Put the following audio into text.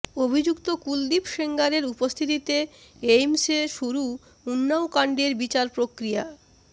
অভিযুক্ত কুলদীপ সেঙ্গারের উপস্থিতিতে এইমসে শুরু উন্নাওকাণ্ডের বিচার প্রক্রিয়া